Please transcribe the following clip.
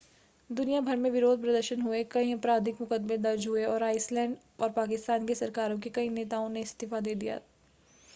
दुनिया भर में विरोध प्रदर्शन हुए कई आपराधिक मुकदमे दर्ज हुए और आइसलैंड और पाकिस्तान की सरकारों के कई नेताओं ने इस्तीफा दे दिया